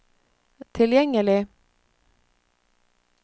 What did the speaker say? tilgjengelig